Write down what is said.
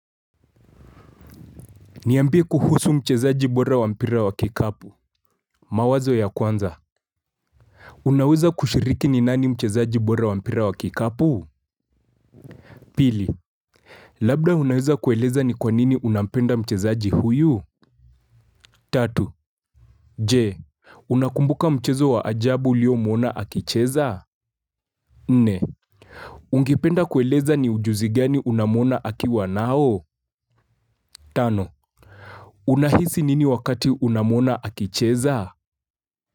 Niambie kuhusu mchezaji bora wa mpira wa kikapu. Mawazo ya kwanza. Unaweza kushiriki ni nani mchezaji bora wa mpira wa kikapu? Pili, Labda unaweza kueleza ni kwanini unampenda mchezaji huyu? Tatu, Je, unakumbuka mchezo wa ajabu uliomwona akicheza? Nne, ungependa kueleza ni ujuzi gani unamwona akiwa nao? Tano, unahisi nini wakati unamwona akicheza?